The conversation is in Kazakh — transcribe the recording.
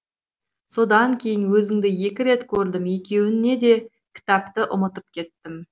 содан кейін өзіңді екі рет көрдім екеуінде де кітапты ұмытып кеттім